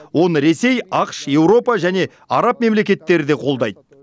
оны ресей ақш еуропа және араб мемлекеттері де қолдайды